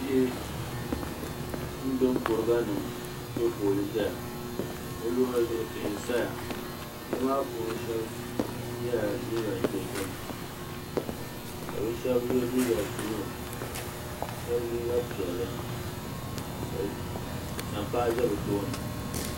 Bihi n gbibi kuruga nima m piɛ foolii n ʒɛya b. luɣuli zuɣu tihi n saya bihi maa puuni sheba yela liiga dozim ka bɛ sheba ye liiga buluu sheba liiga piɛlli ka sampaa za bɛ tooni.